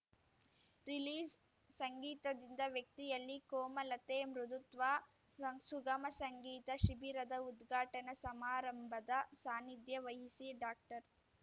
release ಸಂಗೀತದಿಂದ ವ್ಯಕ್ತಿಯಲ್ಲಿ ಕೋಮಲತೆ ಮೃದುತ್ವ ಸಂ ಸುಗಮ ಸಂಗೀತ ಶಿಬಿರದ ಉದ್ಘಾಟನಾ ಸಮಾರಂಭದ ಸಾನಿಧ್ಯ ವಹಿಸಿ ಡಾಕ್ಟರ್